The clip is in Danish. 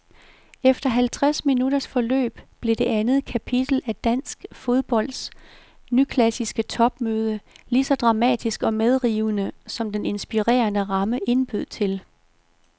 Efter halvtreds minutters tilløb blev det andet kapitel af dansk fodbolds nyklassiske topmøde ligeså dramatisk og medrivende, som den inspirerende ramme indbød til.